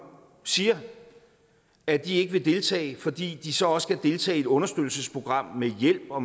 siger at de ikke vil deltage fordi de så også skal deltage i et understøttelsesprogram med hjælp og